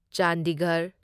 Chandigarh